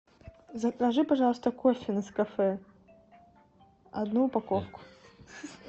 закажи пожалуйста кофе нескафе одну упаковку